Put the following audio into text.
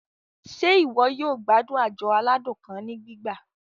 Ṣe iwọ yoo gbadun ajọ aladun kan ni gbigba?